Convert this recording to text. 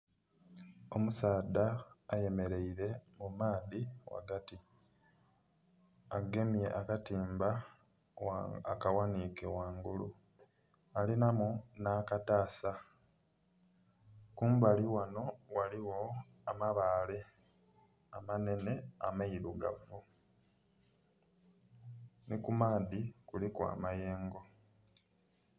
Omusadha ayemereire mu maadhi ghagati agemye akatimba akaghanhike ghangulu alinhamu nha katasa. Kumbali ghanho ghaligho amabaale amanhenhe ameirugavu nhi ku maadhi kuliku amayengo.